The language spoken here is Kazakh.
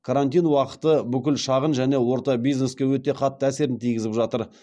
карантин уақыты бүкіл шағын және орта бизнеске өте қатты әсерін тигізіп жатыр